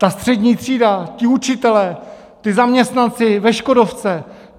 Ta střední třída, ti učitelé, ti zaměstnanci ve Škodovce?